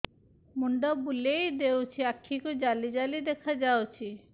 ମୁଣ୍ଡ ବୁଲେଇ ଦେଉଛି ଆଖି କୁ ଜାଲି ଜାଲି ଦେଖା ଯାଉଛି